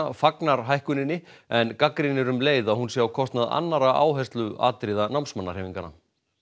fagnar hækkuninni en gagnrýnir um leið að hún sé á kostnað annarra áhersluatriða námsmannahreyfinganna